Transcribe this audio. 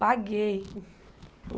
Paguei.